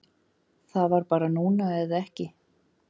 Það var bara núna eða ekki